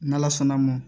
N' ala sɔnna a ma